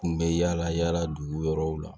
U kun bɛ yaala yaala dugu wɛrɛw la